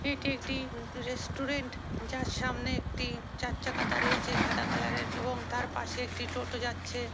এটি একটি রেস্টুরেন্ট যার সামনে একটি চার চাকা দাঁড়িয়ে আছে সাদা কালারের এবং তার পাশে একটি টোটো যাচ্ছে।